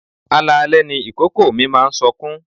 Alalẹ́ ni ìkòkò mi máa ń sọkún.